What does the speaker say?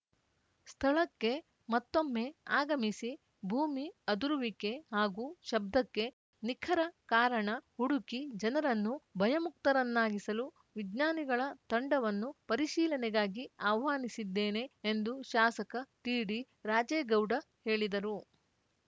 ಸ್ಥಳಕ್ಕೆ ಮತ್ತೊಮ್ಮೆ ಆಗಮಿಸಿ ಭೂಮಿ ಅದುರುವಿಕೆ ಹಾಗೂ ಶಬ್ಧಕ್ಕೆ ನಿಖರ ಕಾರಣ ಹುಡುಕಿ ಜನರನ್ನು ಭಯಮುಕ್ತರನ್ನಾಗಿಸಲು ವಿಜ್ಞಾನಿಗಳ ತಂಡವನ್ನು ಪರಿಶೀಲನೆಗಾಗಿ ಆಹ್ವಾನಿಸಿದ್ದೇನೆ ಎಂದು ಶಾಸಕ ಟಿಡಿ ರಾಜೇಗೌಡ ಹೇಳಿದರು